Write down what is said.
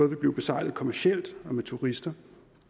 vil blive besejlet kommercielt og med turister